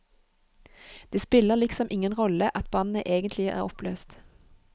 Det spiller liksom ingen rolle at bandet egentlig er oppløst.